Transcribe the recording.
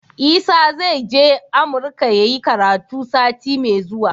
Isa zai je amurka yayi karatu sati me zuwa